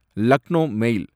லக்னோ மேல்